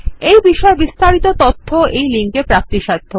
এই বিষয়ে বিস্তারিত তথ্য এই লিঙ্কে প্রাপ্তিসাধ্য